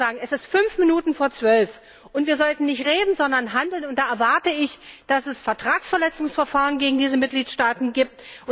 Ich will nur sagen Es ist fünf Minuten vor zwölf, und wir sollten nicht reden, sondern handeln, und da erwarte ich, dass es Vertragsverletzungsverfahren gegen diese Mitgliedstaaten gibt.